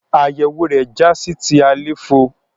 Àyẹwò rẹ já sí ti àléfọ.